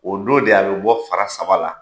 O don de a bɛ bɔ fara saba la